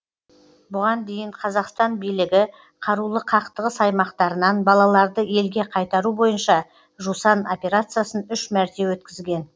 бұған дейін қазақстан билігі қарулы қақтығыс аймақтарынан балаларды елге қайтару бойынша жусан операциясын үш мәрте өткізген